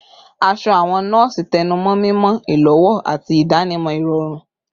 Aṣọ awọn nọọsi tẹnumọ mimọ, ilowo, ati idanimọ irọrun